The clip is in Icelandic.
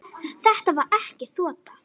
Var þetta ekki þota?